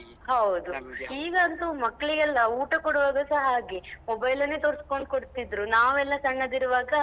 ಹೌದು ಈಗಂತು ಮಕ್ಳಿಗೆಲ್ಲಾ ಊಟ ಕೊಡುವಾಗಸ ಹಾಗೆ mobile ಅನ್ನೇ ತೋರ್ಸ್ಕೊಂಡು ಕೊಡ್ತಿದ್ರು ನಾವೆಲ್ಲ ಸಣ್ಣದಿರುವಾಗ.